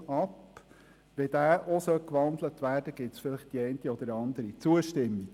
Sollte dieser auch in ein Postulat umgewandelt werden, gäbe es aus wohl die eine oder andere Zustimmung.